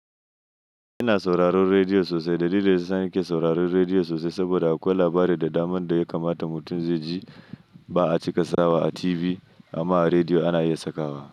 Ina sauraron rediyo sosai. Dalilin da ya sa nake sauraron rediyo sosai saboda akwai labarai da damar da ya kamata mutum zai ji ba a cika sawa a TV amma a rediyo ana iya sakawa.